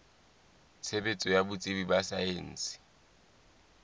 tshebetso ya botsebi ba saense